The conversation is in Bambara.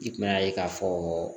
I kun mɛn'a ye k'a fɔ